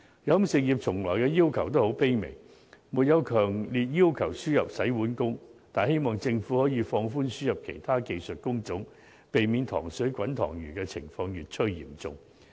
飲食業從來的要求也很卑微，並沒有強烈要求輸入洗碗工，只是希望政府能放寬輸入其他技術工種，避免"塘水滾塘魚"的情況越趨嚴重。